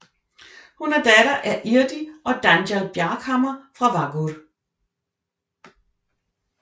Hun er datter af Irdi og Danjal Bjarkhamar fra Vágur